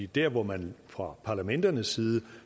der hvor man fra parlamenternes side